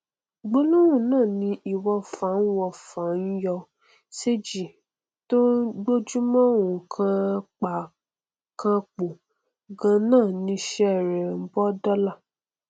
gbólóhùn náà ni ìwọfà ń ìwọfà ń yọ séji tó gbojúmọ ó hàn pákànpọ ganan niṣẹ rẹ bó dọla